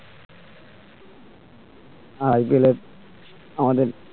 IPL এ আমাদের